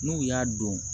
N'u y'a don